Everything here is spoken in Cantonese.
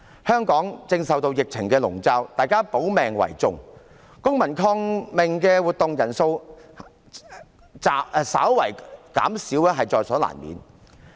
香港正受疫情籠罩，大家保命為重，公民抗命的活動人數稍為減少，在所難免。